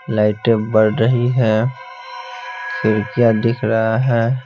लाइटें बढ़ रही है फिर क्या दिख रहा है--